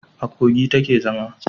A Kogi ta ke zama